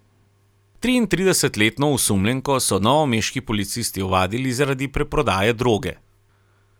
Triintridesetletno osumljenko so novomeški policisti ovadili zaradi preprodaje droge.